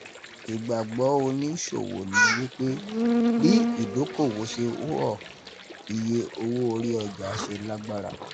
Ìgbàgbọ́ oníṣòwò ni wípé, bí ìdókòwò ṣe oọ̀, iye owó orí ọjà ṣe lágbára.